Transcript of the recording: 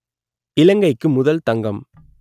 இலங்கைக்கு முதல் தங்கம்